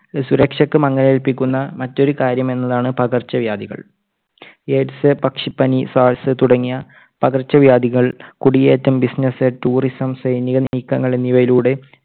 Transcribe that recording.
സുരക്ഷയ്ക്ക് മങ്ങലേൽപ്പിക്കുന്നു മറ്റൊരു കാര്യമെന്നതാണ് പകർച്ചവ്യാധികൾ. AIDS പക്ഷിപനി SARS തുടങ്ങിയ പകർച്ചവ്യാധികൾ കുടിയേറ്റം, business, tourism സൈനികനീക്കങ്ങൾ എന്നിവയിലൂടെ